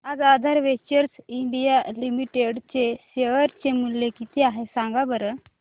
आज Aadhar Ventures India Limited चे share चे मूल्य किती आहे सांगा बरं